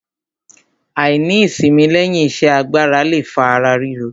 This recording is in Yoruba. Àìní ìsimi lẹ́yìn iṣẹ́ agbára le fa ara ríro.